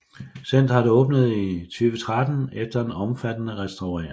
Centeret åbnede i 2013 efter en omfattende restaurering